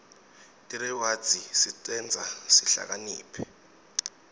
tirewadzi tisenta sihlakaniphe